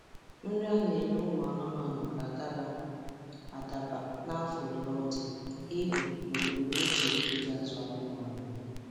Nri a na-enye ụmụ anụmanụ ga-adaba adaba n' afọ ole ọ dị, ibu, na ebumnuche e ji azụ anụmanụ.